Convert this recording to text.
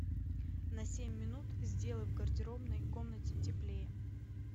на семь минут сделай в гардеробной комнате теплее